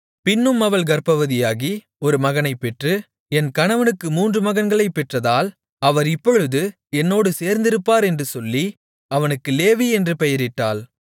பின்னும் அவள் கர்ப்பவதியாகி ஒரு மகனைப் பெற்று என் கணவனுக்கு மூன்று மகன்களைப் பெற்றதால் அவர் இப்பொழுது என்னோடு சேர்ந்திருப்பார் என்று சொல்லி அவனுக்கு லேவி என்று பெயரிட்டாள்